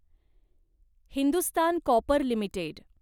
Hindustan Copper limited